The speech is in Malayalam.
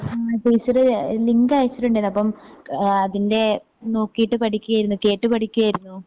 ആ ടീച്ചര് ലിങ്ക് അയച്ചിട്ടിണ്ടാരുന്നപ്പം ആ അതിൻ്റെ നോക്കീട്ട് പഠിക്ക്യാരുന്നു കേട്ട് പഠിക്ക്യാരുന്നു.